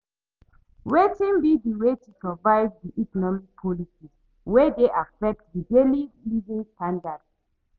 Wetin be di way to survive di economic policies wey dey affect di daily living standards?